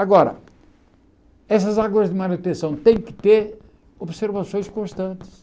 Agora, essas águas de manutenção têm que ter observações constantes.